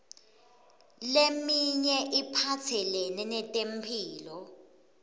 leminye iphatselene netemphilo